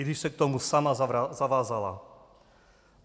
I když se k tomu sama zavázala.